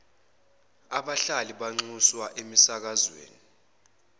abahlali banxuswa emisakazweni